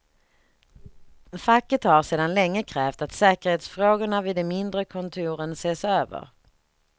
Facket har sedan länge krävt att säkerhetsfrågorna vid de mindre kontoren ses över.